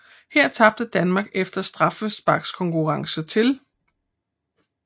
Her tabte Danmark efter straffesparkskonkurrence til